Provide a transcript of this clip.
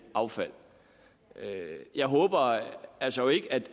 af affald jeg håber altså ikke